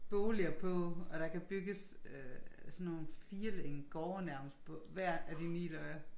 Boliger på og der kan bygges øh sådan nogle firlængede gårde nærmest på hver af de 9 lodder